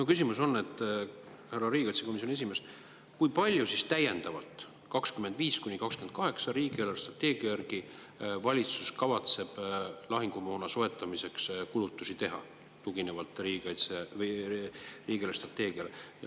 Mu küsimus, härra riigikaitsekomisjoni esimees, on see: kui palju täiendavalt 2025–2028 riigi eelarvestrateegia järgi valitsus kavatseb lahingumoona soetamiseks kulutusi teha?